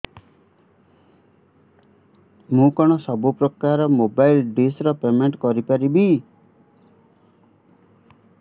ମୁ କଣ ସବୁ ପ୍ରକାର ର ମୋବାଇଲ୍ ଡିସ୍ ର ପେମେଣ୍ଟ କରି ପାରିବି